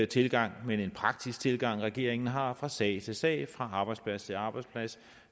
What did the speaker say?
tilgang men en praktisk tilgang regeringen har fra sag til sag fra arbejdsplads til arbejdsplads